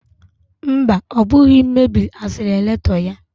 Mba, ọ bụghị m mebiri asileretọ ya